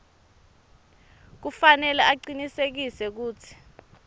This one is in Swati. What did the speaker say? kufanele acinisekise kutsi